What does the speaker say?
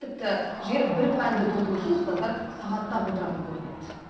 тіпті жігер бір пәнді толтыру үшін ұстаздар сағаттап отыратын көрінеді